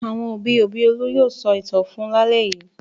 Àwọn òbí-òbí Olú yóò sọ ìtàn fún un lálẹ́ yìí.